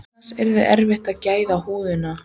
Annars yrði erfitt að græða húðina.